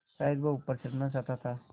शायद वह ऊपर चढ़ना चाहता था